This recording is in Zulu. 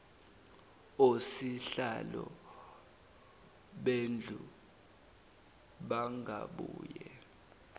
osihlalo bendlu bangabuye